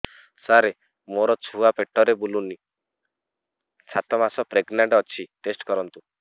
ସାର ମୋର ଛୁଆ ପେଟରେ ବୁଲୁନି ସାତ ମାସ ପ୍ରେଗନାଂଟ ଅଛି ଟେଷ୍ଟ କରନ୍ତୁ